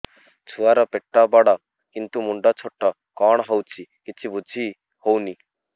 ଛୁଆର ପେଟବଡ଼ କିନ୍ତୁ ମୁଣ୍ଡ ଛୋଟ କଣ ହଉଚି କିଛି ଵୁଝିହୋଉନି